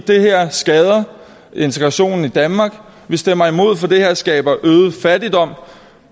det her skader integrationen i danmark vi stemmer imod for det her skaber øget fattigdom